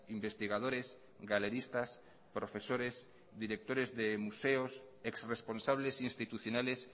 investigadores galeristas profesores directores de museos ex responsables institucionales